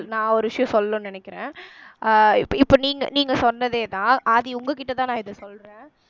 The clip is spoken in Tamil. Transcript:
நான் ஒரு விஷயம் சொல்லணும்னு நினைக்கிறேன் அஹ் இப்ப நீங்க நீங்க சொன்னதேதான் ஆதி உங்க கிட்ட தான் நான் இத சொல்றேன்